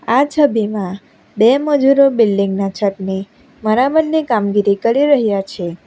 આ છબીમાં બે મજૂરો બિલ્ડિંગના છતની મરામદ કામગીરી કરી રહ્યા છે.